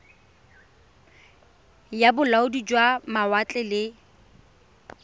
ya bolaodi jwa mawatle le